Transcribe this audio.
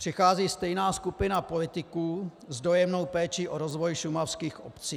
Přichází stejná skupina politiků s dojemnou péčí o rozvoj šumavských obcí.